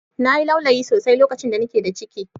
Na yi laulayi sosai lokacin da ni ke da ciki